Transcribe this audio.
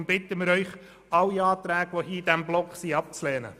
Darum bitten wir Sie, alle Anträge in diesem Block abzulehnen.